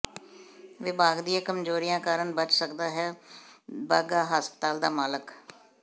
ਵਿਭਾਗ ਦੀਆਂ ਕਮਜ਼ੋਰੀਆਂ ਕਾਰਨ ਬਚ ਸਕਦਾ ਹੈ ਬਾਘਾ ਹਸਪਤਾਲ ਦਾ ਮਾਲਕ